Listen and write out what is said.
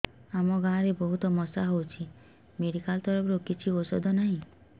ଆମ ଗାଁ ରେ ବହୁତ ମଶା ହଉଚି ମେଡିକାଲ ତରଫରୁ କିଛି ଔଷଧ ନାହିଁ